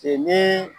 Ee ni